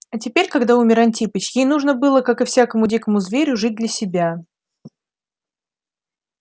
а теперь когда умер антипыч ей нужно было как и всякому дикому зверю жить для себя